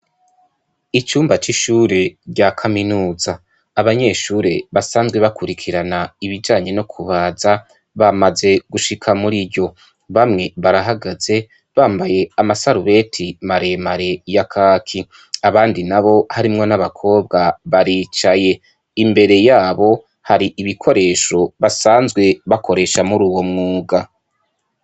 Icumba c'ishuri rya kaminuza, abanyeshure basanzwe bakurikirana ibijanye no kubaza bamaze gushika muriryo. Bamwe barahagaze , bambaye amasarubeti maremare ya kaki , abandi nabo harimwo n'abakobwa baricaye , imbere yabo hari ibikoresho basanzwe bakoresha muruyo mwuga.